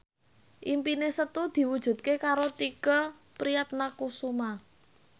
impine Setu diwujudke karo Tike Priatnakusuma